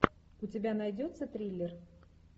у тебя найдется триллер